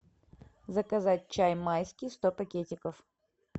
заказать чай майский сто пакетиков